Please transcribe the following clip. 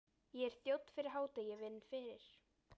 Ég er þjónn fyrir hádegi, vinn fyrir